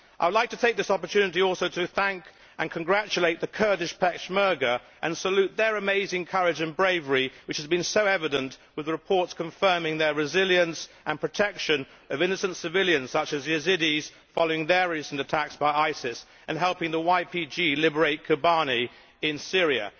I would like to take this opportunity also to thank and congratulate the Kurdish Peshmerga and salute their amazing courage and bravery, which has been so evident with the reports confirming their resilience and protection of innocent civilians such as Yazidis, following the recent attacks on them by ISIS, and helping the YPG liberate Kobani in Syria.